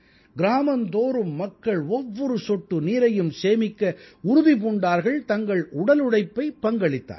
கிராமந்தோறும் மக்கள் ஒவ்வொரு சொட்டு நீரையும் சேமிக்க உறுதி பூண்டார்கள் தங்கள் உடலுழைப்பைப் பங்களித்தார்கள்